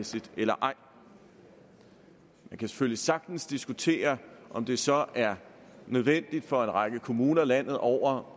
eller ej man kan selvfølgelig sagtens diskutere om det så er nødvendigt for en række kommuner landet over